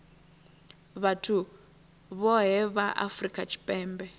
vhathu vhohe vha afurika tshipembe